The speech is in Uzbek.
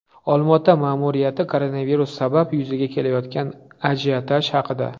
Olmaota ma’muriyati koronavirus sabab yuzaga kelayotgan ajiotaj haqida.